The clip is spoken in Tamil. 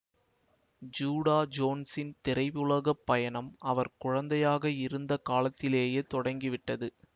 ஜீடா ஜோன்ஸின் திரையுலகப் பயணம் அவர் குழந்தையாக இருந்த காலத்திலேயே தொடங்கிவிட்டது